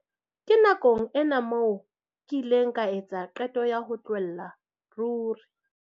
Ke nakong ena moo ke ileng ka etsa qeto ya ho tlohella ruri.